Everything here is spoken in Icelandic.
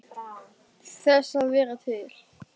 Þess að vera til.